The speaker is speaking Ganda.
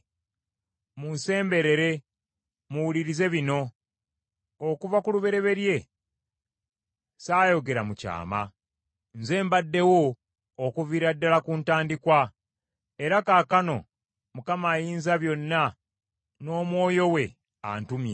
“Munsemberere muwulirize bino. “Okuva ku lubereberye saayogera mu kyama. Nze mbaddewo okuviira ddala ku ntandikwa.” Era kaakano Mukama Ayinzabyonna n’Omwoyo we antumye.